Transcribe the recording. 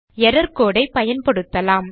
error code ஐ பயன்படுத்தலாம்